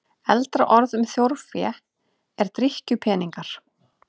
Eldra orð um þjórfé er drykkjupeningar.